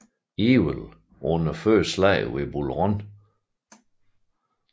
Ewell under første slag ved Bull Run